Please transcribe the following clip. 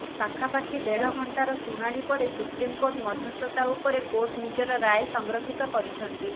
ପାଖାପାଖି ଦେଢ଼ ଘଂଟାର ଶୁଣାଣି ପରେ ସୁପ୍ରିମକୋର୍ଟ ମଧ୍ୟସ୍ଥତା ଉପରେ କୋର୍ଟ ନିଜର ରାୟ ସଂରକ୍ଷିତ କରିଛନ୍ତି